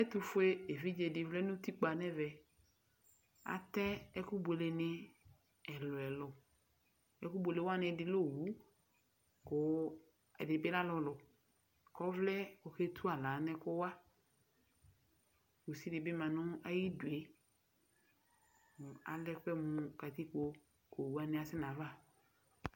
Ɛtʋfue evidze dɩ vlɛ nʋ utikpǝnʋ ɛvɛ Atɛ ɛkʋbuele nɩ ɛlʋ ɛlʋ Ɛkʋbuele wani ɛdɩ lɛ owu, kʋ ɛdɩ bɩ alulu, kʋ ɔvlɛ, kʋ oketu aɣla nʋ ɛkʋwa Kusi dɩ bɩ ma nʋ ayidu yɛ Alɛ ɛkʋ yɛ mʋ katikpo, kʋ owu wani kasɛ nʋ ayava